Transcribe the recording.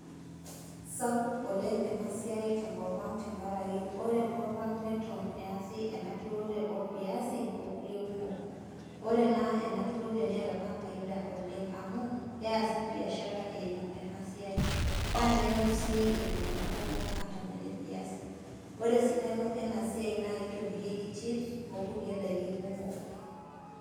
Sapuk oleng enasiai tenkopang tenakraki ore enkopang neton easi ena turore orviasi okulie kumok. Ore ena enaturore neeta enafaida oleng amu keasi biashara eimu enasiai naa kenyor sii iltunganak kumok atam eleviasi. Ore esidano enasiai naa kitobirieki chips okulie daiki kumok .